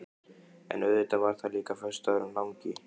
En auðvitað var það líka föstudagurinn langi.